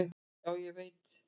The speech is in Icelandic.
"""Já, ég veit"""